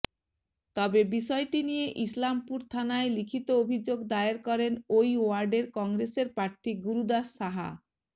তবে বিষয়টি নিয়ে ইসলামপুর থানায় লিখিত অভিযোগ দায়ের করেন ওই ওয়ার্ডের কংগ্রেসের প্রার্থী গুরুদাস সাহা